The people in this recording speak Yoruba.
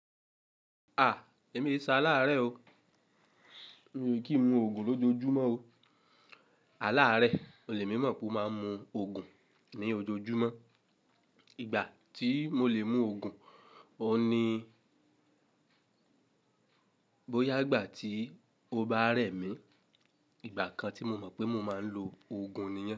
Èmi eṣe aláàárẹ o. Kì ń mu òògùn lójoojúmọ́ o. Àláàrẹ, o lè mọ̀ pé mo máa ń mu òògùn ní ojoojúmọ́. Ìgbà tí mo lè mú òògùn, o ni bóyá ìgbà tí o bá rẹ̀ mí. Ìgbà kan tí mo mọ̀ pé mo máa ń lo òògùn nìyẹn.